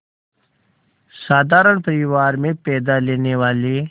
साधारण परिवार में पैदा लेने वाले